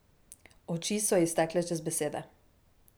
Oči so ji stekle čez besede.